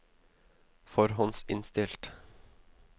forhåndsinnstilt